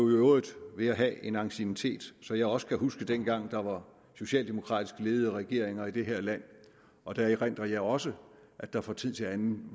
øvrigt ved at have en anciennitet så jeg også kan huske dengang der var socialdemokratisk ledede regeringer i det her land og der erindrer jeg også at der fra tid til anden